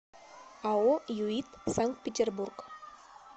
ао юит санкт петербург